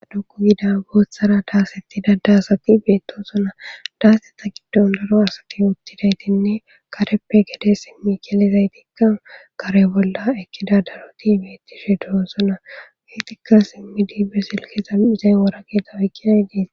aduku gida booththara daasetti dada asaqi beetosona daaseta giddon daro asati uttidaytinne kareppe gede simmi gelizay tikka kare bolla ekkida daroti beettishe duo sona geetikka simmi diibbe silkeza izeyn wora geeta oykkinay dies